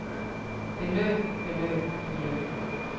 beløb beløb beløb